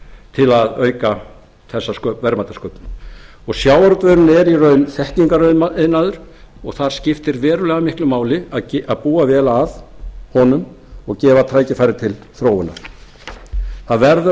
til að auka þessa verðmætasköpum sjávarútvegurinn er í raun þekkingariðnaður og þar skiptir verulega miklu máli að búa vel að honum og gefa tækifæri til þróunar það verður að